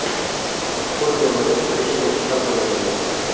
Chuqur ko‘milib, ko‘cha tekislab qo‘yildi.